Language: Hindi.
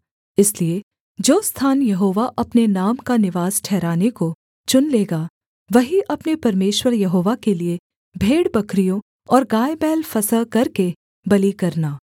इसलिए जो स्थान यहोवा अपने नाम का निवास ठहराने को चुन लेगा वहीं अपने परमेश्वर यहोवा के लिये भेड़बकरियों और गायबैल फसह करके बलि करना